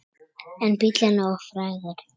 En bíllinn er of frægur.